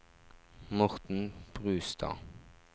Morten Brustad